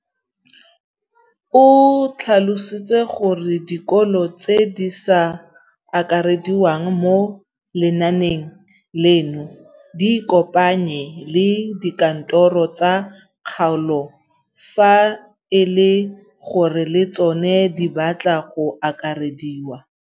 O tlhalositse gore dikolo tse di sa akarediwang mo lenaaneng leno di ikopanye le dikantoro tsa kgaolo fa e le gore le tsona di batla go akarediwa.